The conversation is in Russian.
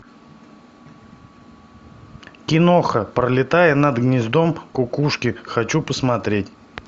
киноха пролетая над гнездом кукушки хочу посмотреть